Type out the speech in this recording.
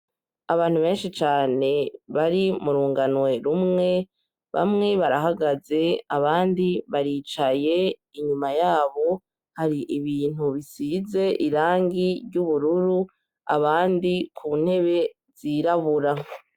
abantu benshi cane bari murunganwe rumwe bamwe barahagaze abandi baricaye inyuma yabo hari ibintu bisize irangi ry'ubururu abandi ku ntebe zirabura